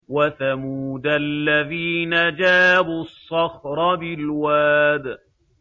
وَثَمُودَ الَّذِينَ جَابُوا الصَّخْرَ بِالْوَادِ